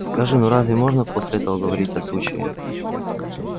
скажи ну разве можно после этого говорить о случае